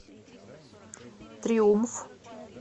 триумф